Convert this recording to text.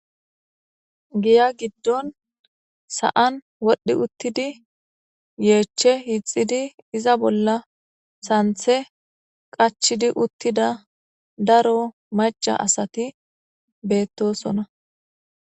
giya giddon sa7an wodhdhi uttidi yeechche hixidi iza bolla santhe qachidi uttida daro maca asati beettosona